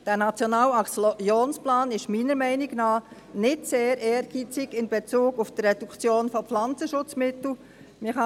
Dieser Nationale Aktionsplan ist, meiner Meinung nach, in Bezug auf die Reduktion von Pflanzenschutzmitteln nicht sehr ehrgeizig.